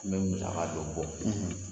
Ne ɲinɛla k'a don boite in na..